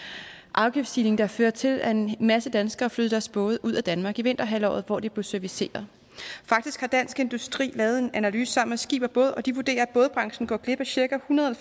afgiftsstigning der fører til at en masse danskere flytter deres både ud af danmark i vinterhalvåret hvor de bliver serviceret faktisk har dansk industri lavet en analyse sammen med skib båd og de vurderer at bådbranchen går glip af cirka en hundrede og